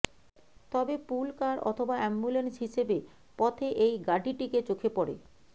তবে pool car অথবা ambulance হিসেবে পথে এই গাডিটিকে চোখে পড়ে